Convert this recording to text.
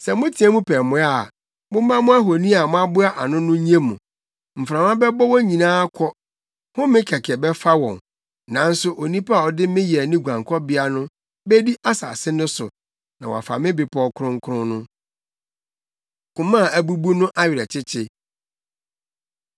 Sɛ moteɛ mu pɛ mmoa a, momma mo ahoni a moaboa ano no nnye mo! Mframa bɛbɔ wɔn nyinaa akɔ, home kɛkɛ bɛfa wɔn. Nanso onipa a ɔde me yɛ ne guankɔbea no bedi asase no so na wafa me bepɔw kronkron no.” Koma A Abubu No Awerɛkyekye